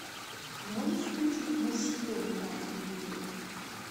можешь включить мужской на телевизоре